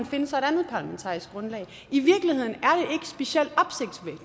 finde sig et andet parlamentarisk grundlag i virkeligheden er